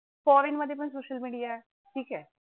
Foreign मध्ये सुद्धा social media आहे, ठिक आहे?